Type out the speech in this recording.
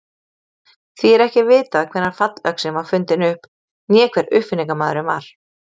Því er ekki vitað hvenær fallöxin var fundin upp né hver uppfinningamaðurinn var.